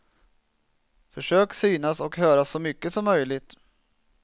Försök synas och höras så mycket som möjligt.